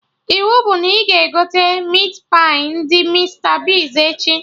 Iwu bụ na ị ga-egote Meatpai ndị Mista Bigz echi!